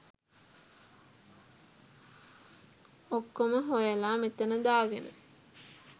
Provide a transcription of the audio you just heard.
ඔක්කොම හොයලා මෙතන දාගෙන